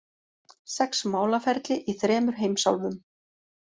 Sex málaferli í þremur heimsálfum